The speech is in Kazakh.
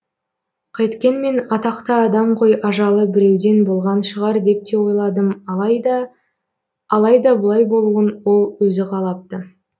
қайткенмен атақты адам ғой ажалы біреуден болған шығар деп те ойладым алайда алайда бұлай болуын ол өзі қалапты